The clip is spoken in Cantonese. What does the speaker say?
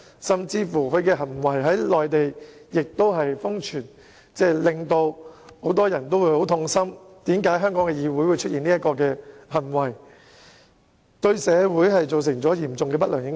他的行徑更在內地瘋傳，很多人都對香港議會出現這種行為感到痛心，而且對社會造成嚴重的不良影響。